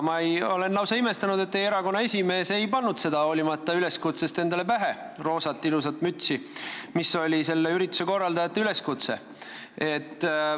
Ma olen lausa imestunud, et teie erakonna esimees hoolimata ürituse korraldajate üleskutsest seda roosat ilusat mütsi endale pähe ei pannud.